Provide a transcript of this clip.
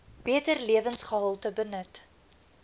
beter lewensgehalte benut